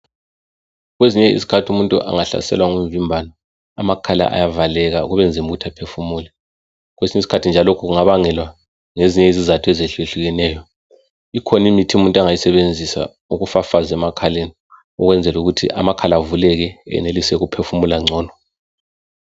Kwezinye izikhathi umuntu angahlaselwa ngumvimbano, amakhala ayavaleka kubenzima ukuthi aphefumule. Kwesinye isikhathi njalo lokhu kungabangelwa ngezinye izatho ezehluyehlukeneyo. Ikhona imithi umuntu angayisebenzisa ukufafaza emakhaleni ukwenzela ukuthi amakhala avuleke enelise uphefumule ngcono.